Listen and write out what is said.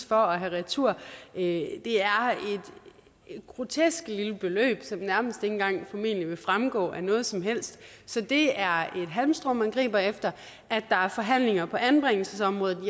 for at have retur det er et grotesk lille beløb som nærmest engang vil fremgå af noget som helst så det er et halmstrå man griber efter at der er forhandlinger på anbringelsesområdet